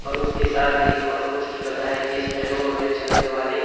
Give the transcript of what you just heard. और उसके साथ एक और पोस्टर लगा है जिसमें रोड में चलने वाले--